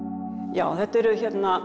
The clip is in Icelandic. já þetta eru